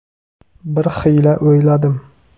Bir xiyla o‘yladim.